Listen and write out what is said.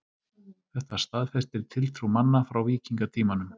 Þetta staðfestir tiltrú manna frá víkingatímanum.